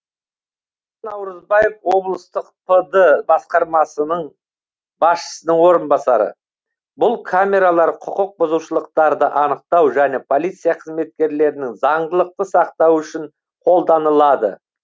наурызбаев облыстық пд басқармасы басшысының орынбасары бұл камералар құқық бұзушылықтарды анықтау және полиция қызметкерлерінің заңдылықты сақтауы үшін қолданылады